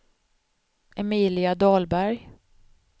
Emilia Dahlberg